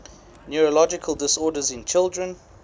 neurological disorders in children